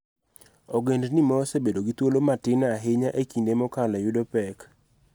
Ogandani ma osebedo gi thuolo matin ahinya e kinde mokalo yudo pek